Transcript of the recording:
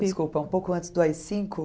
Desculpa, um pouco antes do á i cinco?